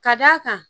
Ka d'a kan